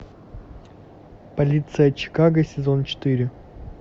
полиция чикаго сезон четыре